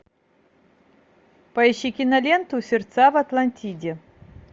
поищи киноленту сердца в атлантиде